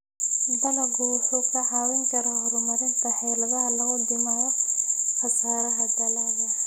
Dalaggu wuxuu kaa caawin karaa horumarinta xeeladaha lagu dhimayo khasaaraha dalagga.